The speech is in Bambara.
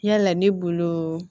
Yala ne bolo